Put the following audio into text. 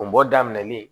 O bɔ daminɛlen